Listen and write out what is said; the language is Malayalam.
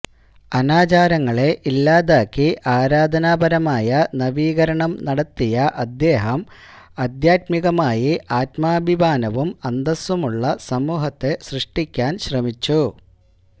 അനാചാരങ്ങളെ ഇല്ലാതാക്കി ആരാധനാപരമായ നവീകരണം നടത്തിയ അദ്ദേഹം ആദ്ധ്യാത്മികമായി ആത്മാഭിമാനവും അന്തസുമുള്ള സമൂഹത്തെ സൃഷ്ടിക്കാന് ശ്രമിച്ചു